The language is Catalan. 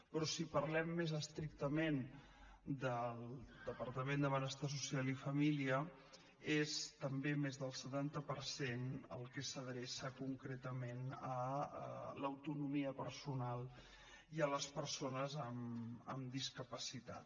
però si parlem més estrictament del departament de benestar social i família és també més del setanta per cent el que s’adreça concretament a l’autonomia personal i a les persones amb discapacitat